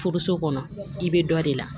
Furuso kɔnɔ i bɛ dɔ de la